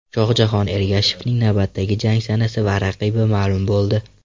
Shohjahon Ergashevning navbatdagi jang sanasi va raqibi ma’lum bo‘ldi.